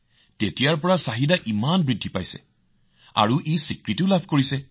তেতিয়াৰে পৰা ইয়াত চাহিদা যথেষ্ট বৃদ্ধি পাইছে আৰু ই নিজৰ পৰিচয়ো লাভ কৰিছে